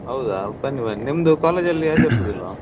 ಹೌದಾ ಬನ್ನಿ ಬನ್ನಿ ನಿಮ್ದು college ಅಲ್ಲಿ ಆಚಾರ್ಸೋದಿಲ್ವಾ?